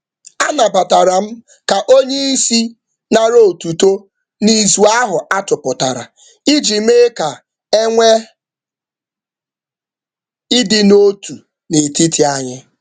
M kweere um ka oga were otuto um maka echiche ahụ iji um nọgide na-adị n’otu n’ime otu.